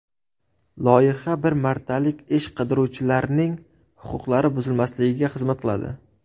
Loyiha bir martalik ish qidiruvchilarning huquqlari buzilmasligiga xizmat qiladi.